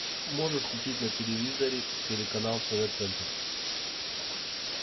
можешь включить на телевизоре телеканал тв центр